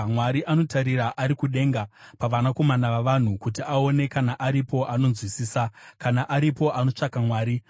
Mwari anotarira ari kudenga, pavanakomana vavanhu, kuti aone kana aripo anonzwisisa, kana aripo anotsvaka Mwari.